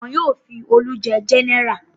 Wọn yóò fi Olú jẹ gẹ́nẹrà.